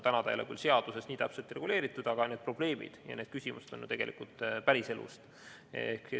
Täna ei ole küll seaduses see nii täpselt reguleeritud, aga need probleemid ja need küsimused on ju tegelikult päriselust.